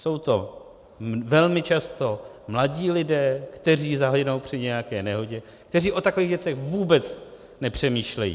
Jsou to velmi často mladí lidé, kteří zahynou při nějaké nehodě, kteří o takových věcech vůbec nepřemýšlejí.